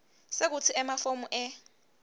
sekutsi emafomu e